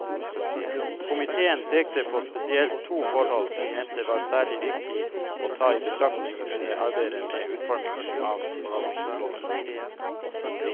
Komiteen pekte på spesielt to forhold den mente var særlig viktig å ta i betraktning under arbeidet med utformingen av forvaltningslovene.